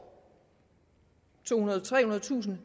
tohundredetusind